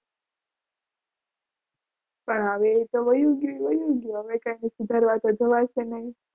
પણ આવી રીતે વયુ ગયું એ વયુ ગયું હવે કંઈ કરવા તો જવાય નહીં.